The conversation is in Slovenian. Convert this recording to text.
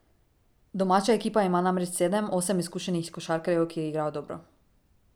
Domača ekipa ima namreč sedem, osem izkušenih košarkarjev, ki igrajo dobro.